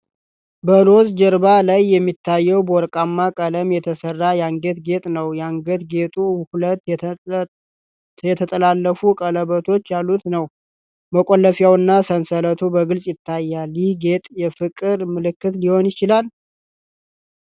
በሮዝ ጀርባ ላይ የሚታየው በወርቃማ ቀለም የተሠራ የአንገት ጌጥ ነው። የአንገት ጌጡ ሁለት የተጠላለፉ ቀለበቶች ያሉት ነው። መቆለፊያውና ሰንሰለቱ በግልጽ ይታያሉ። ይህ ጌጥ የፍቅር ምልክት ሊሆን ይችላል?